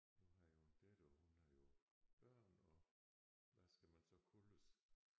Nu har jeg jo en datter og hun har jo børn og hvad skal man så kaldes